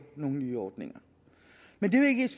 nogle nye ordninger men det